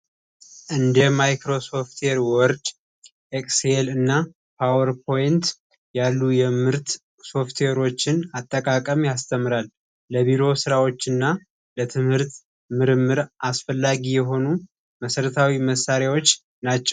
እንደ ማይክሮሶፍት ወርድ ኤክስኤል እና ፓወር ፖይንት ያሉ የምርት ሶፍትዌሮችን አጠቃቀም ያስተምራል ለቢሮ ሥራዎች እና ለትምህርት ምርምር አስፈላጊ የሆኑ መስረታዊ መሳሪያዎች ናቸው።